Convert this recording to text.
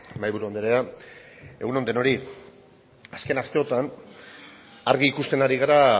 mahaiburu andrea egun on denoi azken asteotan argi ikusten ari gara